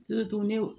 wo